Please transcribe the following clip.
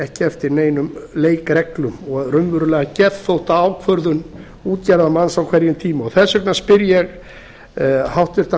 ekki eftir neinum leikreglum og raunverulega geðþóttaákvörðun útgerðarmanns á hverjum tíma þess vegna spyr ég hæstvirtan